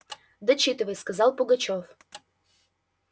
дочитывай сказал пугачёв